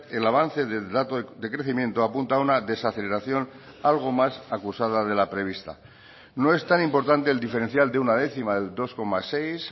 el avance del dato de crecimiento apunta una desaceleración algo más acusada de la prevista no es tan importante el diferencial de una décima del dos coma seis